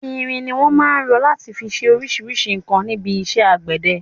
Irin ni wọn máa ń rọ láti fi ṣe oríṣríṣi nǹkan níbi iṣẹ́ àgbẹ̀dẹ.